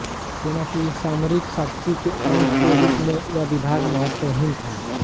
सेना की सामरिक शक्ति के अंग के रूप में यह विभाग महत्वहीन था